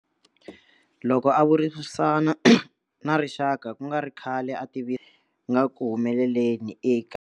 Loko a vulavurisana na rixaka ku nga ri khale a tiva nga ku humeleleni eka.